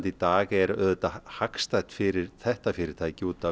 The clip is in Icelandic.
í dag er auðvitað hagstætt fyrir þetta fyrirtæki út af